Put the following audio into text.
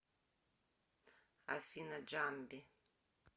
афина джамби